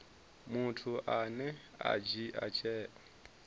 muthu ane a dzhia tsheo